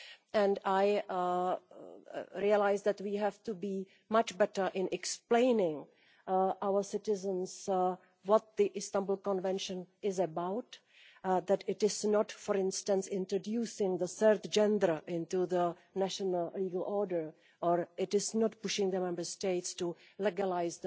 and I realised that we have to do much better in explaining to our citizens what the Istanbul Convention is about that it is not, for instance, introducing the third gender into the national legal order, nor is it pushing the Member States to legalise